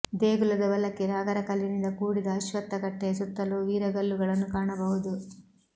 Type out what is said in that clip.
ದೇಗುಲದ ಬಲಕ್ಕೆ ನಾಗರ ಕಲ್ಲಿನಿಂದ ಕೂಡಿದ ಅಶ್ವತ್ಥಕಟ್ಟೆಯ ಸುತ್ತಲೂ ವೀರಗಲ್ಲುಗಳನ್ನು ಕಾಣಬಹುದು